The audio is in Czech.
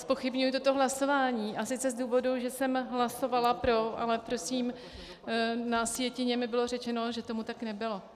Zpochybňuji toto hlasování, a sice z důvodu, že jsem hlasovala pro, ale prosím na sjetině mi bylo řečeno, že tomu tak nebylo.